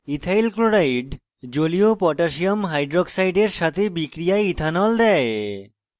ethyl chloride জলীয় potassium হাইক্সাইডের সাথে বিক্রিয়ায় ethyl দেয়